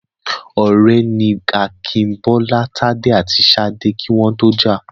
Ọ̀rẹ́ ni Akin, Bọ́lá, Tádé àti Ṣadé kí wọ́n tó jà.